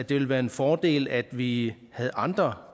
ville være en fordel at vi havde andre